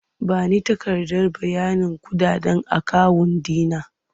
Ba ni takardar bayanin kuɗaɗen akawun ɗi na!